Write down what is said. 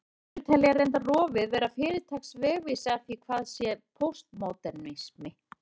Sumir telja reyndar rofið vera fyrirtaks vegvísi að því hvað sé póstmódernismi.